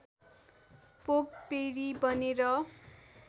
पोग पेर्रि बनेर